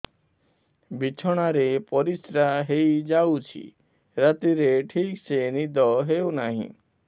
ବିଛଣା ରେ ପରିଶ୍ରା ହେଇ ଯାଉଛି ରାତିରେ ଠିକ ସେ ନିଦ ହେଉନାହିଁ